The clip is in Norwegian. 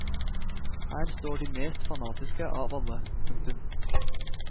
Her står de mest fanatiske av alle. punktum